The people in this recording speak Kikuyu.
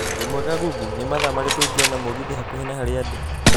wimwega Google, nĩ mathaa marĩkũ ingĩona mũgithi hakuhĩ na harĩa ndĩ